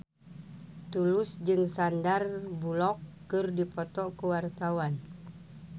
Tulus jeung Sandar Bullock keur dipoto ku wartawan